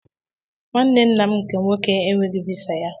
Nwanne nna m nke nwoke e enwetaghị visa ya.